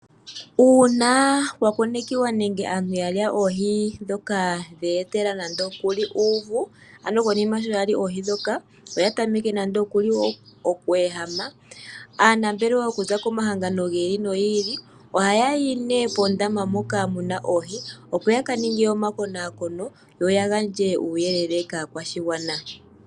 Uuna kwa konekwa nenge aantu ya lya oohi e tadhi ya etele uuvu konima shi ya lya oohi ndhoka, eta ya tameke oku ehama, aanambelewa okuza komahangano gi ili nogi ili oha ya yi nduno poondama mpoka pu na oohi opo ya ka ninge omakonakono, yo ya gandje uuyelele kaakwashigwana.